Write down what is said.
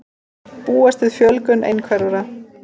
Búast við fjölgun einhverfra